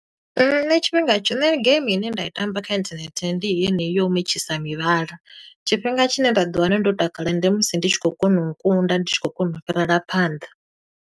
Nṋe tshifhinga tsho, nṋe game ine nda i tamba kha inthanethe, ndi heneyi yo mentshisi mivhala. Tshifhinga tshine nda ḓi wana ndo takala ndi musi ndi tshi khou kona u kunda, ndi tshi khou kona u fhirela phanḓa.